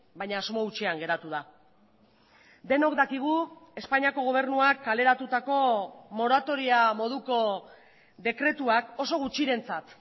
baina asmo hutsean geratu da denok dakigu espainiako gobernuak kaleratutako moratoria moduko dekretuak oso gutxirentzat